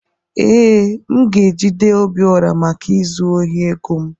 Ee, m ga-ejide Obiora maka izu ohi ego m